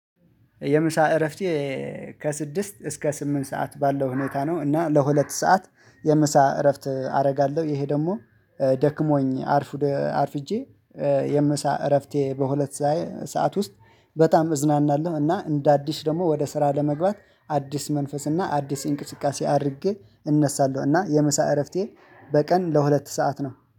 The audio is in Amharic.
የምሳ እረፍቴ ከስድስት እስከ ስምንት ሰዓት ባለው ሁኔታ ነው እና ለሁለት ሰዓት የምሳ እረፍት አደርጋለሁ። ይሄ ደግሞ ደክሞኝ አርፍጄ የምሳ እረፍቴ በሁለት ሰዓት ውስጥ በጣም እዝናናለሁ። እና እንደ አዲስ ደግሞ ወደ ስራ ለመግባት አዲስ መንፈስ እና አዲስ እንቅስቃሴ አድርጌ እነሳለሁ እና የመሳ እረፍቴ በቀን ለሁለት ሰዓት ነው